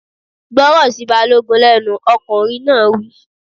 Gbọ́rọ̀ sí Balógun lẹ́nu! Ọkùnrin náà wí.